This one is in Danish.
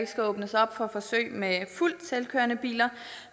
skal åbnes op for forsøg med fuldt selvkørende biler